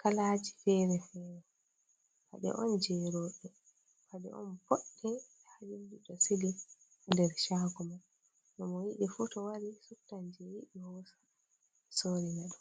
kalaji fere-fere, paɗe on jei roɓe, paɗe on boɗɗe. Ɓeɗo sili ha nder shago man mo yiɗifu to wari suptan jei yiɗi hosa sori na ɗum.